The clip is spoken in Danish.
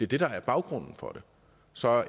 det der er baggrunden for det så